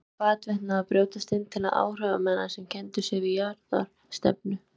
Nú væru hvarvetna að brjótast til áhrifa menn sem kenndu sig við jafnaðarstefnu.